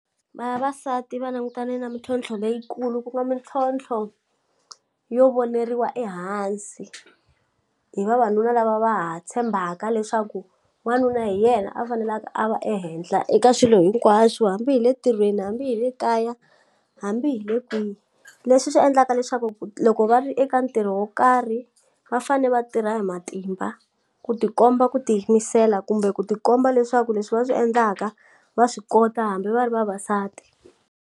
Vavasati va langutane na mintlhontlho leyikulu ku kuma mintlhontlho yo voneriwa ehansi hi vavanuna lava va ha tshembaka leswaku wanuna hi yena a faneleka a va ehenhla eka swilo hinkwaswo hambi hi le tirhweni hambi hi le kaya hambi hi le kwihi leswi swi endlaka leswaku loko va ri eka ntirho wo karhi va fane va tirha hi matimba ku tikomba ku tiyimisela kumbe ku tikomba leswaku leswi va swi endlaka va swi kota hambi va ri vavasati.